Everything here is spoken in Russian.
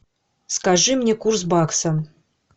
скажи мне курс бакса